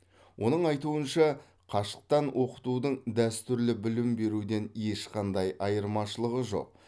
оның айтуынша қашықтан оқытудың дәстүрлі білім беруден ешқандай айырмашылығы жоқ